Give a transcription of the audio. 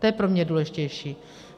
To je pro mě důležitější.